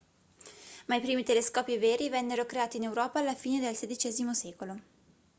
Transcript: ma i primi telescopi veri vennero creati in europa alla fine del xvi secolo